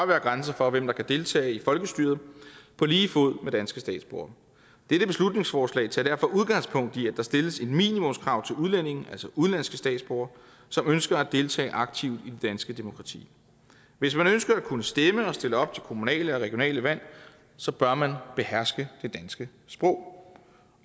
være grænser for hvem der kan deltage i folkestyret på lige fod med danske statsborgere dette beslutningsforslag tager derfor udgangspunkt i at der stilles et minimumskrav til udlændinge altså udenlandske statsborgere som ønsker at deltage aktivt i det danske demokrati hvis man ønsker at kunne stemme og stille op til kommunale og regionale valg så bør man beherske det danske sprog